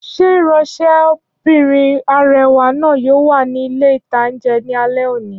Ṣé ìránsẹ́bìnrin arẹwà náà yóò wà ní ilé-ìtánjẹ ní alé òní?